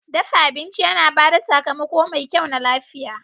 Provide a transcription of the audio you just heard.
Dafa abinci yana ba da sakamako mai kyau na lafiya.